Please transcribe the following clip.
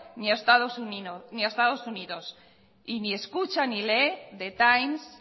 ni a estado unidos y ni escucha ni lee the times